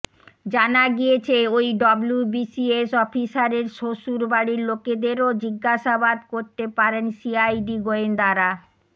জানা গিয়েছে ওই ডব্লুবিসিএস অফিসারের শ্বশুর বাড়ির লোকেদেরও জিজ্ঞাসাবাদ করতে পারেন সিআইডি গোয়েন্দারা